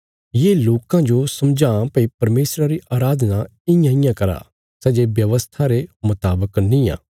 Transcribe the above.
ये लोकां जो समझावां भई परमेशरा री अराधना इयांइयां करा सै जे व्यवस्था रे मुतावक निआं